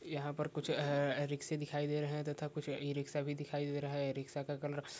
यह पर कुछ रिक्शा दिखायी दे रहा है तथा कुछ ई-रिक्शा भी दिखायी दे रहा है रिक्शा का कलर --